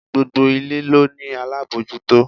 Gbogbo ilé ló ní alábòójútó.